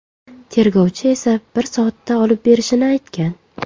Tergovchi esa bir soatda olib berishini aytgan.